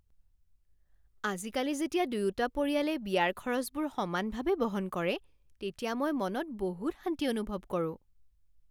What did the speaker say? আজিকালি যেতিয়া দুয়োটা পৰিয়ালে বিয়াৰ খৰচবোৰ সমানভাৱে বহন কৰে তেতিয়া মই মনত বহুত শান্তি অনুভৱ কৰোঁ।